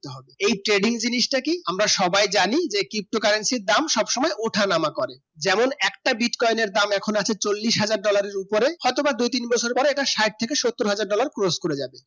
এই trading জিনিস তা কি আমরা সবাই জানি যে ptocurrency দাম সবসুময় ওঠা নামা করবে যেমন একটি bitcoin এখন আছে চলিশ হাজার dollar এর উপরে হয়তো বা দুই তিন বছর পর একটা সাত থেকে সত্য হাজার dollar course করে যাবে